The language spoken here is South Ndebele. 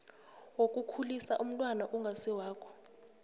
wokukhulisa umntwana ongasiwakho